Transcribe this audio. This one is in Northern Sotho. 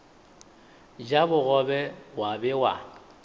ja bogobe wa be wa